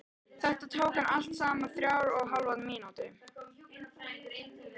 Þetta tók hann allt saman þrjár og hálfa mínútu.